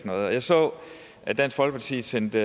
noget jeg så at dansk folkeparti sendte